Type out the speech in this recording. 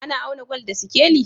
Ana auna gwal da sikeli?